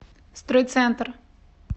стройцентр